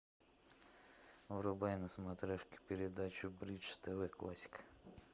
врубай на смотрешке передачу бридж тв классика